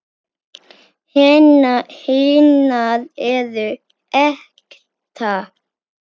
Hinar eru ekta.